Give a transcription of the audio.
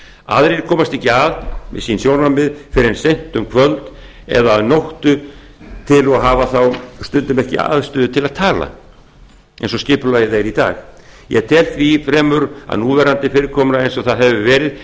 aðrir komast ekki að með sjónarmið sín fyrr en seint um kvöld eða að nóttu til og hafa þá stundum ekki aðstöðu til að tala eins og skipulagið er í dag ég tel því fremur að núverandi fyrirkomulag eins og það hefur verið